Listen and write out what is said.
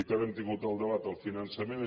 ara hem tingut el debat del finançament